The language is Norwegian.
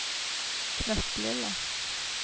knøttlille